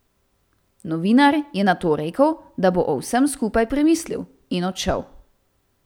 Novinar je nato rekel, da bo o vsem skupaj premislil, in odšel.